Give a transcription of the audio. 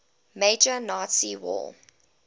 major nazi war